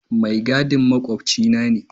Mai gadin makwabcina ne.